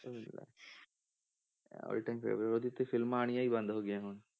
all time favourite ਉਹਦੀ ਤੇ ਫਿਲਮਾਂ ਆਉਣੀਆਂ ਹੀ ਬੰਦ ਹੋ ਗਈਆਂ ਹੁਣ।